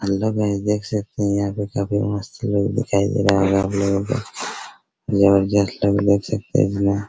hello guys देख सकते हैं यहाँ पे काफी मस्त लुक दिखाई दे रहा है आपलोग को देख सकते है इसमें |